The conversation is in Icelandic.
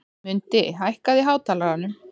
Mundi, hækkaðu í hátalaranum.